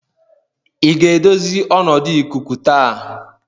ị ga-edozi ọnọdụ ikuku taa?